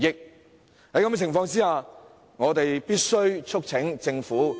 在這種情況下，我們必須促請政府......